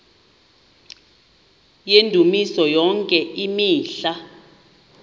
yendumiso yonke imihla